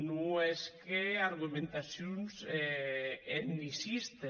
non hèsque argumentacions etnicistes